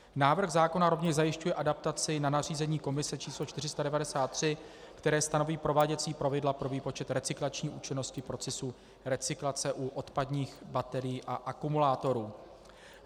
Návrh zákona rovněž zajišťuje adaptaci na nařízení Komise č. 493, které stanoví prováděcí pravidla pro výpočet recyklační účinnosti procesu recyklace u odpadních baterií a akumulátorů.